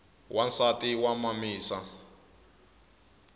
wansati wa mamisa